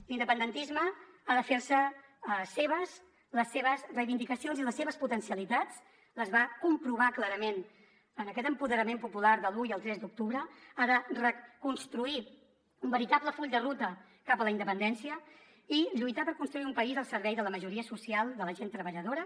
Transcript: l’independentisme ha de fer se seves les seves reivindicacions i les seves potencialitats les va comprovar clarament en aquest empoderament popular de l’un i el tres d’octubre ha de reconstruir un veritable full de ruta cap a la independència i lluitar per construir un país al servei de la majoria social de la gent treballadora